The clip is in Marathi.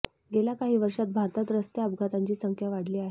गेल्या काही वर्षांत भारतात रस्ते अपघातांची संख्या वाढली आहे